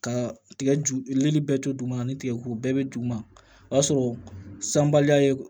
Ka tigɛ ju libe to duguma ni tigɛko bɛɛ bɛ duguma o y'a sɔrɔ sanbaliya ye